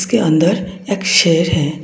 ये अंदर एक शेर है।